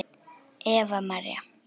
Eva María.